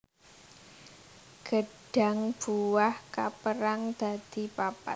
Gêdhang buah kapérang dadi papat